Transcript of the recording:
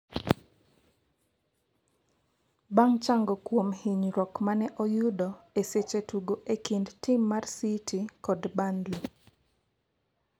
bang' chango kuom hinyruok mane oyudo e seche tugo e kind tim mar City kod Burnley